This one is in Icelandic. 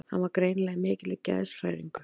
Hann var greinilega í mikilli geðshræringu.